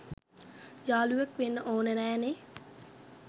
යාලුවෙක් වෙන්න ඕන නෑ නේ